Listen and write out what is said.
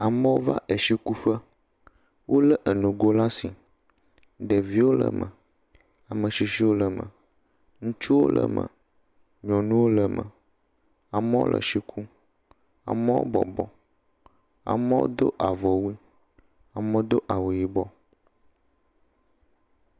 Amewo va etsikuƒe. Wo le enugo ɖe asi. Ɖeviwo le eme, ame tsitsiwo le eme, ŋutsuwo le eme, nyɔnuwo le eme. Amewo le etsi kum, amewo bɔbɔ, amewo do avɔ wu, amewo do awu yibɔ.